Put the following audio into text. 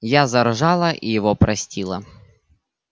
я заржала и его простила